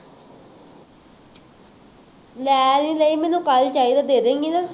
ਲੈ ਲੈ ਲਈਂ ਮੈਂਨੂੰ ਕੱਲ੍ਹ ਚਾਹੀਦਾ ਦੇ ਦੇ ਗੀ ਨਾ